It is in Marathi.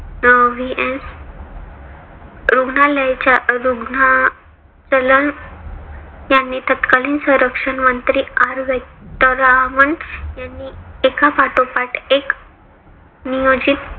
अं V. N. रुग्णालयाच्या यांनी तत्कालीन संरक्षण मंत्री R. वेंकटरामण यांनी एकापाठोपाठ एक नियोजित